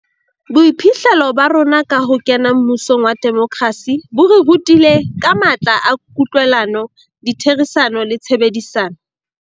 Boiphihlelo ba rona ka ho kena mmusong wa demokrasi bo re rutile ka matla a kutlwelano, ditherisano le tshebedisano.